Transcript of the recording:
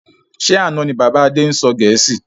Ṣé àna ni bàbá Adé ń sọ gẹ̀ẹ́sì?